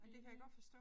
Enig